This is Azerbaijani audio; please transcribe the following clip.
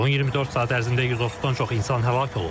Son 24 saat ərzində 130-dan çox insan həlak olub.